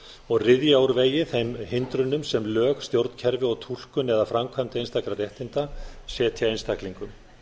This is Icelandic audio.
og ryðja úr vegi þeim hindrunum sem lög stjórnkerfi og túlkun eða framkvæmt einstakra réttinda setja einstaklingum